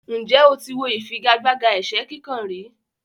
Ǹjẹ́ o ti wo ìfigagbága ẹ̀sẹ́ kíkàn rí?